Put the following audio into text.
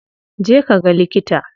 Je ka ga likita.